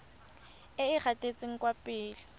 e e gatetseng kwa pele